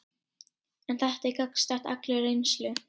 En þetta er gagnstætt allri reynslu.